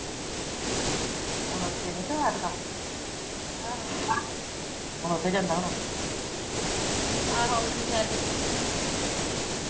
ਹੁਣ ਛੇਵੀਂ ਚ ਹੋਇਆ ਹਮ ਹੁਣ ਉਥੇ ਜਾਂਦਾ ਹੋਣਾ ਆਹੋ ਓਥੇ